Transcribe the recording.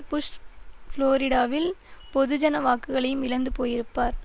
push புளோரிடாவில் பொதுஜன வாக்குகளையும் இழந்து போயிருப்பார்